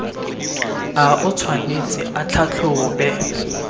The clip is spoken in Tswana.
a o tshwanetse a tlhatlhobe